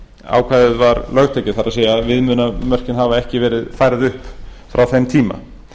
ákvæðið var lögtekið það er viðmiðunarmörkin hafa ekki verið færð upp frá þeim tíma